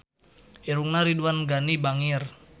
Irungna Ridwan Ghani bangir